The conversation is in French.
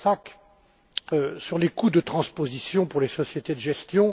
Vlasák sur les coûts de transposition pour les sociétés de gestion.